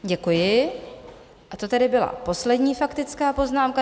Děkuji, a to tedy byla poslední faktická poznámka.